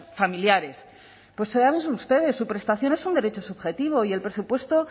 familiares pues ustedes su prestación es un derecho y el presupuesto